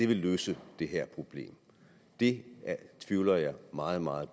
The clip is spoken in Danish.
vil løse det her problem det tvivler jeg meget meget